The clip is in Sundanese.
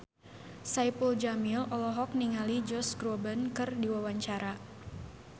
Saipul Jamil olohok ningali Josh Groban keur diwawancara